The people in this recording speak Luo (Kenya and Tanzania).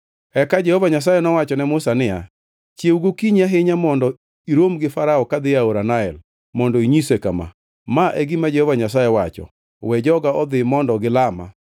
Eka Jehova Nyasaye nowacho ne Musa niya, “Chiew gokinyi ahinya mondo irom gi Farao ka odhi e aora Nael mondo inyise kama: Ma e gima Jehova Nyasaye wacho: We joga odhi mondo gilama.